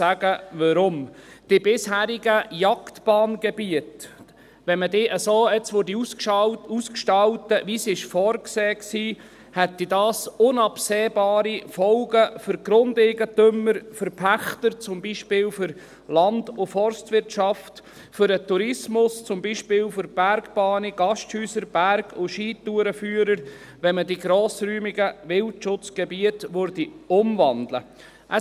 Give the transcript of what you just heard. Wenn man die bisherigen Jagdbanngebiete so ausgestalten würde, wie es vorgesehen war, hätte dies zum Beispiel unabsehbare Folgen für die Grundeigentümer, die Pächter, die Land- und Forstwirtschaft, den Tourismus, die Bergbahnen, die Gasthäuser und für die Berg- und Skitourenführer, wenn man die grossräumigen Wildschutzgebiete umwandeln würde.